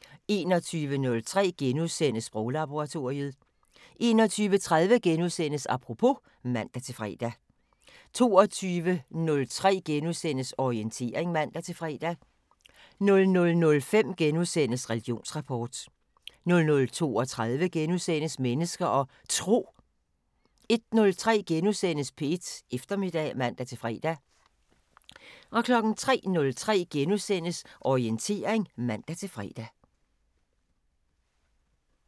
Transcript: * 21:03: Sproglaboratoriet * 21:30: Apropos *(man-fre) 22:03: Orientering *(man-fre) 00:05: Religionsrapport * 00:32: Mennesker og Tro * 01:03: P1 Eftermiddag *(man-fre) 03:03: Orientering *(man-fre)